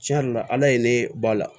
Tiɲɛ yɛrɛ la ala ye ne ba la